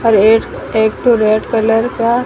एक तो red colour का--